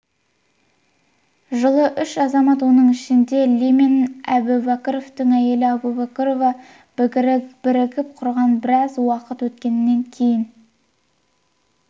жылы үш азамат оның ішінде ли мен әбубәкіровтің әйелі әбубәкірова бірігіп құрған біраз уақыт өткеннен кейін